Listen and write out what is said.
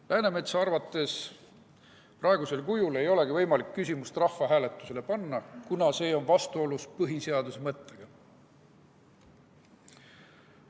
Läänemetsa arvates praegusel kujul ei olegi võimalik küsimust rahvahääletusele panna, kuna see on vastuolus põhiseaduse mõttega.